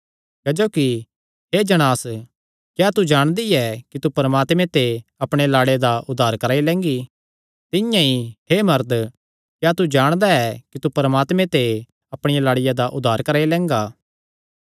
क्जोकि हे जणांस क्या तू जाणदी ऐ कि तू परमात्मे ते अपणे लाड़े दा उद्धार कराई लैंगी तिंआं ई हे मरद क्या तू जाणदा ऐ कि तू परमात्मे ते अपणिया लाड़िया दा उद्धार कराई लैंगा